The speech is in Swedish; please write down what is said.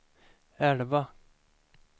elva